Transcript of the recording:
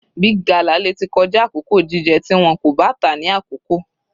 Big gala lè tí kọjá àkókò jíjẹ tí wọn kò bá tà á ní àkókò.